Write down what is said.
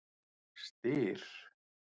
Styr